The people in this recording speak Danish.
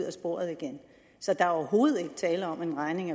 af sporet igen så der er overhovedet ikke tale om at en regning